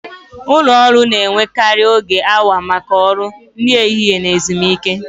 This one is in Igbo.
Ụlọ ọrụ na-enwekarị oge awa maka ọrụ, nri ehihie na ezumike.